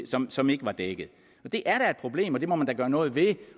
som som ikke var dækket det er da et problem og det må man da gøre noget ved